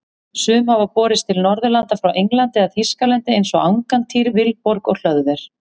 Sum hafa borist til Norðurlanda frá Englandi eða Þýskalandi eins og Angantýr, Vilborg og Hlöðver.